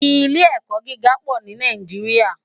Ilé èkò gigá pò ni Nàijiriá